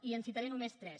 i en citaré només tres